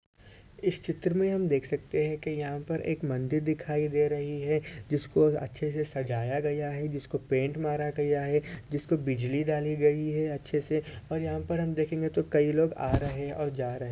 इस चित्र मे हम देख सकते है की यहाँ पर एक मंदिर दिखाई दे रही है। जिसको अच्छे से सजाया गया है। जिसको पेंट मारा गया है। जिसको बिजली डाली गयी है। अच्छे से और यहाँ पर हम देखेंगे तो कई लोग आ रहे है और जा रहे --